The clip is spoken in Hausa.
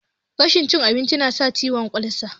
Rashin cin abinci nasa cutan olsa